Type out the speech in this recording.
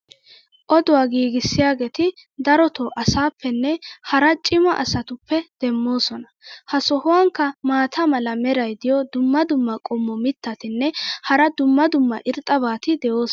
Oduwa giigissiyaageeti darotoo asaappenne hara cimma asatuppe demoosona. ha sohuwankka maata mala meray diyo dumma dumma qommo mitattinne hara dumma dumma irxxabati de'oosona.